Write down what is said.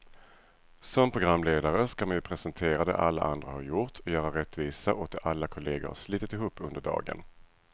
Som programledare ska man ju presentera det alla andra har gjort, göra rättvisa åt det alla kollegor har slitit ihop under dagen.